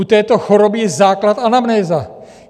U této choroby je základ anamnéza.